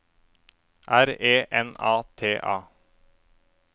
R E N A T A